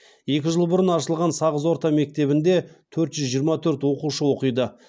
екі жыл бұрын ашылған сағыз орта мектебінде төрт жүз жиырма төрт оқушы оқиды